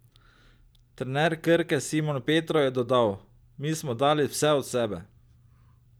Trener Krke Simon Petrov je dodal: "Mi smo dali vse od sebe.